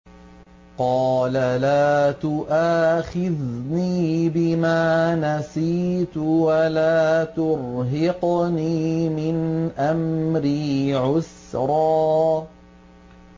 قَالَ لَا تُؤَاخِذْنِي بِمَا نَسِيتُ وَلَا تُرْهِقْنِي مِنْ أَمْرِي عُسْرًا